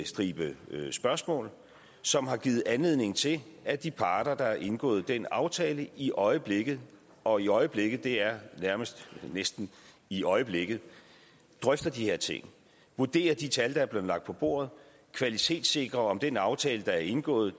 stribe spørgsmål som har givet anledning til at de parter der har indgået den aftale i øjeblikket og i øjeblikket er næsten i øjeblikket drøfter de her ting vurderer de tal der er blevet lagt på bordet og kvalitetssikrer at den aftale der er indgået